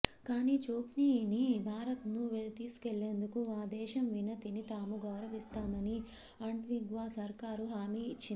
కానీ ఛోక్సీని భారత్ను తీసుకెళ్లేందుకు ఆ దేశం వినతిని తాము గౌరవిస్తామని ఆంటిగ్వా సర్కారు హామీ ఇచ్చింది